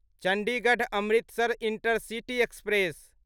Chandigarh Amritsar intercity express